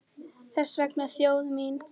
Þess vegna þjóð mín!